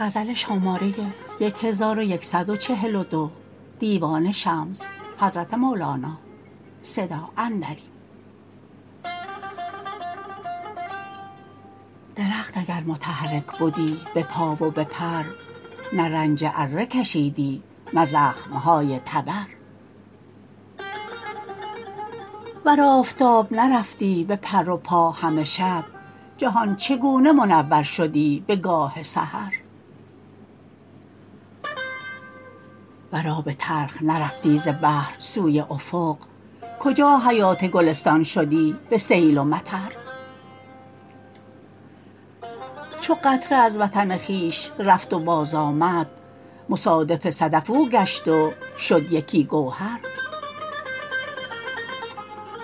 درخت اگر متحرک بدی به پا و به پر نه رنج اره کشیدی نه زخمه های تبر ور آفتاب نرفتی به پر و پا همه شب جهان چگونه منور شدی بگاه سحر ور آب تلخ نرفتی ز بحر سوی افق کجا حیات گلستان شدی به سیل و مطر چو قطره از وطن خویش رفت و بازآمد مصادف صدف او گشت و شد یکی گوهر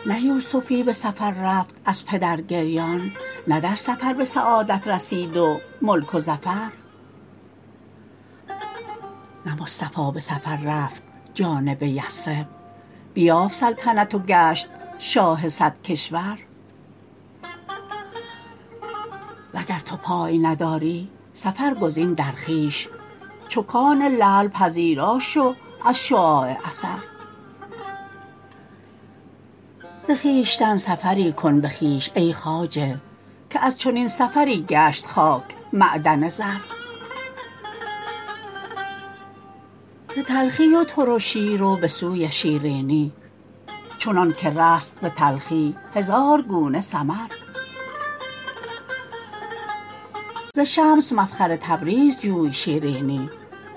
نه یوسفی به سفر رفت از پدر گریان نه در سفر به سعادت رسید و ملک و ظفر نه مصطفی به سفر رفت جانب یثرب بیافت سلطنت و گشت شاه صد کشور وگر تو پای نداری سفر گزین در خویش چو کان لعل پذیرا شو از شعاع اثر ز خویشتن سفری کن به خویش ای خواجه که از چنین سفری گشت خاک معدن زر ز تلخی و ترشی رو به سوی شیرینی چنانک رست ز تلخی هزار گونه ثمر ز شمس مفخر تبریز جوی شیرینی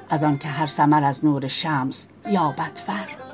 از آنک هر ثمر از نور شمس یابد فر